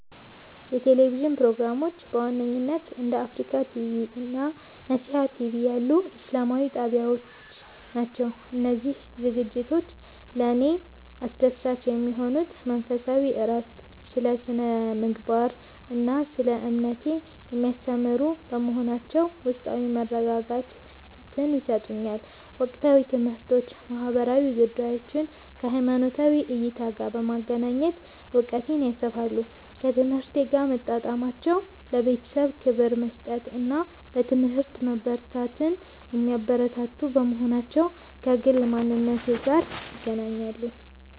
የቴሌቪዥን ፕሮግራሞች በዋነኝነት እንደ አፍሪካ ቲቪ (Africa TV) እና ነሲሃ ቲቪ (Nesiha TV) ያሉ ኢስላማዊ ጣቢያዎች ናቸው. እነዚህ ዝግጅቶች ለእኔ አስደሳች የሚሆኑት መንፈሳዊ እረፍት፦ ስለ ስነ-ምግባር እና ስለ እምነቴ የሚያስተምሩ በመሆናቸው ውስጣዊ መረጋጋትን ይሰጡኛል። ወቅታዊ ትምህርቶች፦ ማህበራዊ ጉዳዮችን ከሃይማኖታዊ እይታ ጋር በማገናኘት እውቀቴን ያሰፋሉ. ከህይወቴ ጋር መጣጣማቸው፦ ለቤተሰብ ክብር መስጠትን እና በትምህርት መበርታትን የሚያበረታቱ በመሆናቸው ከግል ማንነቴ ጋር ይገናኛሉ.